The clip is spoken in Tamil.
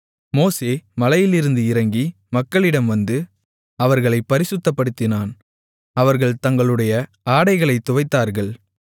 மோசே மலையிலிருந்து இறங்கி மக்களிடம் வந்து அவர்களைப் பரிசுத்தப்படுத்தினான் அவர்கள் தங்களுடைய ஆடைகளைத் துவைத்தார்கள்